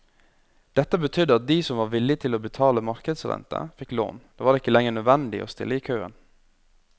Dette betydde at de som var villig til å betale markedsrente, fikk lån, det var ikke lenger nødvendig å stille i køen.